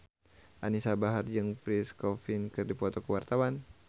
Anisa Bahar jeung Pierre Coffin keur dipoto ku wartawan